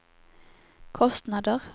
kostnader